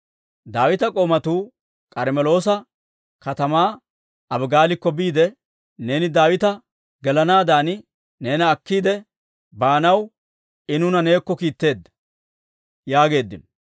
Daawita k'oomatuu K'armmeloosa katamaa Abigaalikko biide, «Neeni Daawita gelanaaddan neena akkiide baanaw I nuuna neekko kiitteedda» yaageeddino.